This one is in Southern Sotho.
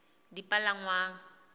dipalangwang